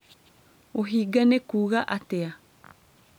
ũhinga nĩ kuuga atĩa